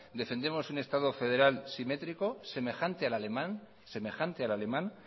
defendemos un estado federal simétrico semejante al alemán